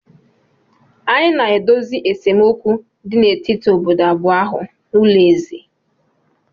Anyị na-edozi esemokwu dị n'etiti obodo abụọ ahụ n'ụlọ eze